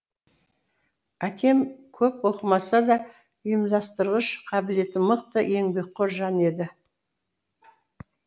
әкем көп оқымаса да ұйымдастырғыш қабілеті мықты еңбекқор жан еді